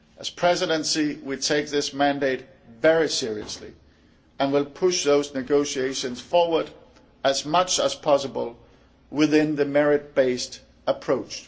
As the Presidency we take this mandate very seriously and will push those negotiations forward as much as possible within the merit based approach.